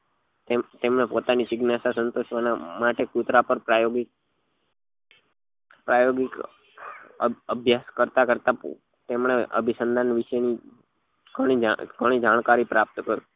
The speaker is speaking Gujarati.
એમ એમના પોતાના જીજ્ઞાસા સંતોષવા માટે કુતરા પર પ્રાયોગિક પ્રાયોગિક અભ્યાસ કરતા કરતા તેમને અભિસંધાન વિશે ગણી ગણી જાણકારી પ્રાપ્ત કરી